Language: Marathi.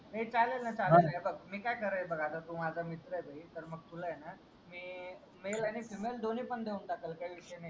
चालेल न चालेल न ही बघ मी काय करेल बघ आता तू माझा मित्र आहे तर मग तुला आहे ना MALE आणि FEMALE दोन्ही पण देऊन तकील काही विषय नाही